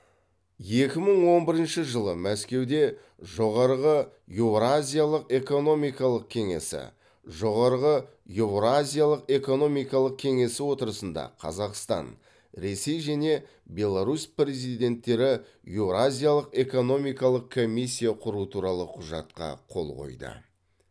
екі мың он бірінші жылы мәскеуде жоғарғы еуразиялық экономикалық кеңесі жоғарғы еуразиялық экономикалық кеңесі отырысында қазақстан ресей және беларусь президенттері еуразиялық экономикалық комиссия құру туралы құжатқа қол қойды